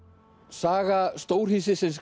saga